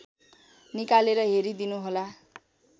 निकालेर हेरिदिनुहोला